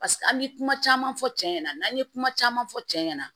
paseke an ye kuma caman fɔ cɛ ɲɛna n'an ye kuma caman fɔ cɛ ɲɛna